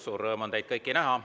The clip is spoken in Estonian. Suur rõõm on teid kõiki näha.